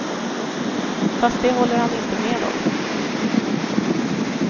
Fast det håller han inte med om.